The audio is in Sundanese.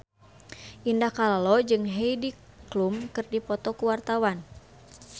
Indah Kalalo jeung Heidi Klum keur dipoto ku wartawan